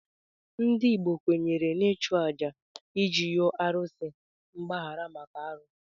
Ndị Igbo kwenyere n'ịchụ àjà iji yọọ arụsị mgbaghara maka arụ.